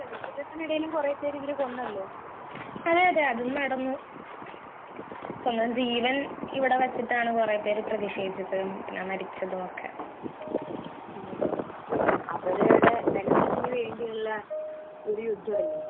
അങ്ങനെ ഒരു നേതാവ് ഉണ്ട് അവിടുത്തെ അയാൾക്കെതിരെ കുറെ മുദ്രാവാക്യങ്ങളും ഒക്കെ വിളിച്ച സ്ത്രീകളാണ് ഈ തെരൂബുകളിലൊക്കെ വച്ച് ഈ ശിരോവസ്ത്രം ഒക്കെ മാറ്റി വാർത്തകളിൽ നമ്മൾ കണ്ടല്ലോ മുടിയൊക്കെ വെട്ടിക്കളഞ്ഞു പ്രതിഷേധിച്ചു